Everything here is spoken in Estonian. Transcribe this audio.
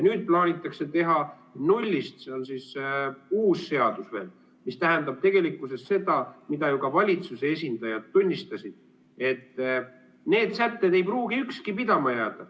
Nüüd plaanitakse teha nullist uus seadus, mis tähendab tegelikkuses seda, mida ju ka valitsuse esindajad tunnistasid, et need sätted ei pruugi ükski pidama jääda.